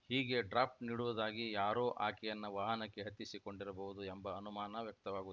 ಹೀಗೆ ಡ್ರಾಪ್‌ ನೀಡುವುದಾಗಿ ಯಾರೋ ಆಕೆಯನ್ನ ವಾಹನಕ್ಕೆ ಹತ್ತಿಸಿಕೊಂಡಿರಬಹುದು ಎಂಬ ಅನುಮಾನ ವ್ಯಕ್ತವಾಗುತ್